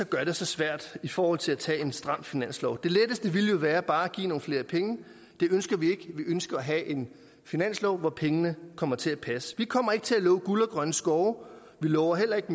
gør det så svært i forhold til at tage en stram finanslov det letteste ville jo være bare at give nogle flere penge det ønsker vi ikke vi ønsker at have en finanslov hvor pengene kommer til at passe vi kommer ikke til at love guld og grønne skove vi lover heller ikke